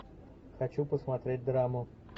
хочу посмотреть драму